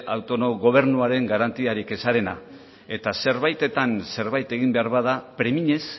autogobernuaren garantiaren ezarena eta zerbaitetan zerbait egin behar bada premiñez